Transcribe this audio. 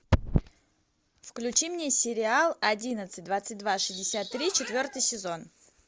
включи мне сериал одиннадцать двадцать два шестьдесят три четвертый сезон